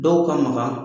Dɔw ka maga